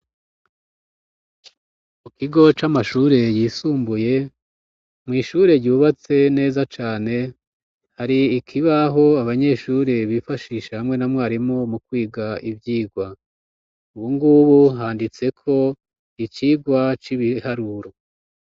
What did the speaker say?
Mu kigo c'amashure yisumbuye, mw'ishure yubatse neza cane, hari ikibaho abanyeshure bifashisha hamwe na mwarimu mu kwiga ivyigwa, ubu ngubu handitseko icigwa c'ibiharuro.